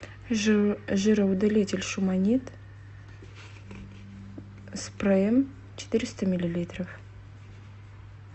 жироудалитель шуманит спреем четыреста миллилитров